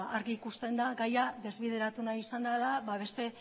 argi ikusten da gaia desbideratu nahi izan dela beste